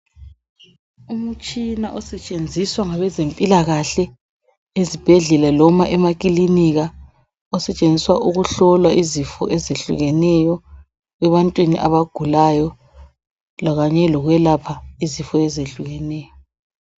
Umtshina osetshenziswayo ezibhedlela loba emakilinika ukuhlola izifo ezitshiyeneyo ebantwini abagulayo kanye lokupha izifo ezehlukeneyo .